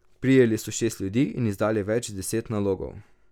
Prijeli so šest ljudi in izdali več deset nalogov.